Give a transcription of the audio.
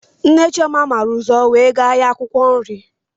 Nne Chioma màrà ụzọ wee gaa ahịa akwụkwọ nri